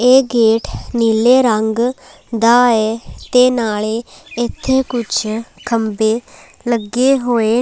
ਇਹ ਗੇਟ ਨੀਲੇ ਰੰਗ ਦਾ ਏ ਤੇ ਨਾਲੇ ਇੱਥੇ ਕੁਝ ਖੰਬੇ ਲੱਗੇ ਹੋਏ--